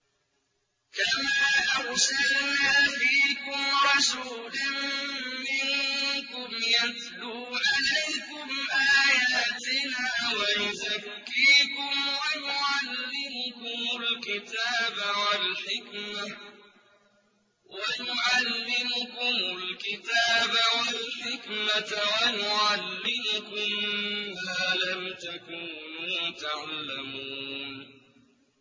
كَمَا أَرْسَلْنَا فِيكُمْ رَسُولًا مِّنكُمْ يَتْلُو عَلَيْكُمْ آيَاتِنَا وَيُزَكِّيكُمْ وَيُعَلِّمُكُمُ الْكِتَابَ وَالْحِكْمَةَ وَيُعَلِّمُكُم مَّا لَمْ تَكُونُوا تَعْلَمُونَ